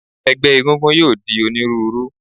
Ẹgbẹ́ egúngún yóò di onírúurú.